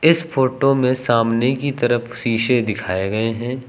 इस फोटो में सामने की तरफ शीशे दिखाए गए हैं।